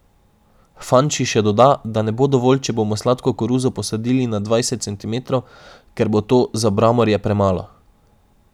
Fanči še doda, da ne bo dovolj, če bomo sladko koruzo posadili na dvajset centimetrov, ker bo to za bramorje premalo.